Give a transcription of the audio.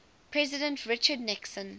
president richard nixon